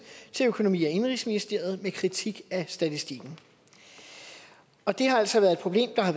til økonomi og indenrigsministeriet med kritik af statistikken og det har altså været et problem der har